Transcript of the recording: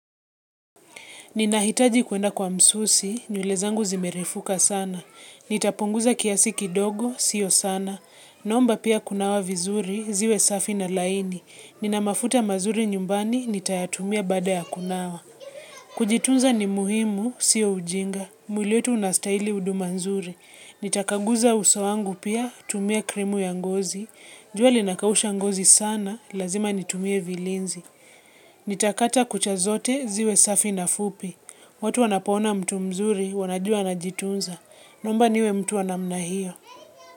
Ninahitaji kuenda kwa msusi, nywele zangu zimerefuka sana. Nitapunguza kiasi kidogo, sio sana. Naomba pia kunawa vizuri, ziwe safi na laini. Nina mafuta mazuri nyumbani, nitayatumia baada ya kunawa. Kujitunza ni muhimu, sio ujinga. Mwili wetu unastaili uduma nzuri. Nitakaguza uso wangu pia, tumia krimu ya ngozi. Jua linakausha ngozi sana, lazima nitumie vilinzi. Nitakata kucha zote, ziwe safi na fupi. Watu wanapoona mtu mzuri, wanajua anajitunza. Naomba niwe mtu wa namna hiyo.